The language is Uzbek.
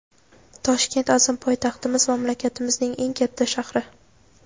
Toshkent – azim poytaxtimiz, mamlakatimizning eng katta shahri.